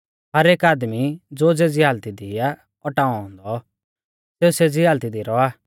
हर एक आदमी ज़ो ज़ेज़ी हालती दी आ औटाऔ औन्दौ सेऊ सेज़ी हालती दी रौआ